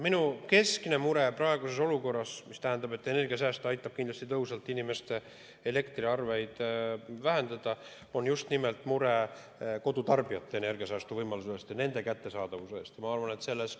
Minu keskne mure praeguses olukorras – energiasääst aitab kindlasti tõhusalt inimeste elektriarveid vähendada – on just nimelt mure kodutarbijate energiasäästuvõimaluste ja nende kättesaadavuse pärast.